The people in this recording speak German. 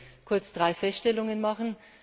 Ich möchte kurz drei Feststellungen machen.